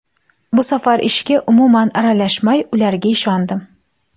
Bu safar ishga umuman aralashmay, ularga ishondim.